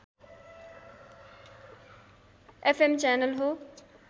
FM channel हो